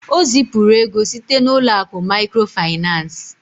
O zipụrụ ego site n'ụlọ akụ maịkrofaịnans.